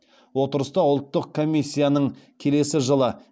отырыста ұлттық комиссияның келесі жылы